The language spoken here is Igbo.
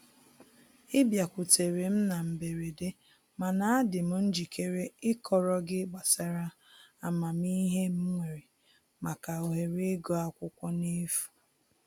Ị bịakutere m na mberede mana adị m njikere ịkọrọ gị gbasara amamihe m nwere maka ohere ịgụ akwụkwọ n'efu